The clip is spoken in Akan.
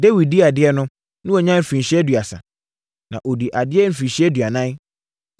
Dawid dii adeɛ no, na wanya mfirinhyia aduasa. Na ɔdii adeɛ mfirinhyia aduanan.